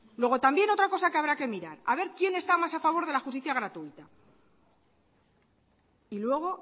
luego también otra cosa que habrá que mirar a ver quién está más a favor de la justicia gratuita y luego